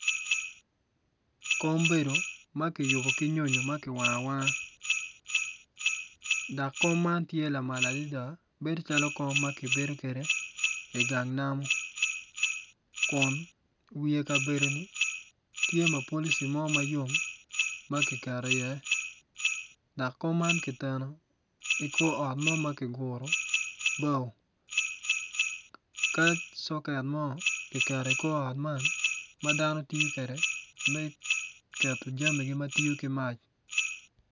Kom bedo ma kiyubo ki nyonyo ma ki wango awanga dok kom man tye lamal adada bedo calo kom ma kibedo kede igang namo kun wiye kabedo ni tye mapalici mo mayom ma kiketo i iye dok kom man kiteno ikor ot mo ma kiguru bao ka coket mo kiketo ikor ot man ma dano tiyo kwede me keto jamigi ma tiyo ki mac